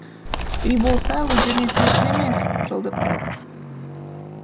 үй болса өздеріне тиесілі емес жалдап тұрады